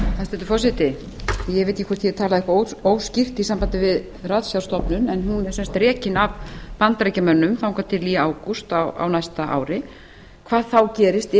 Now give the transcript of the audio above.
eitthvað óskýrt í sambandi við ratsjárstofnun en hún er sem sagt rekin af bandaríkjamönnum þangað til í ágúst á næsta ári hvað þá gerist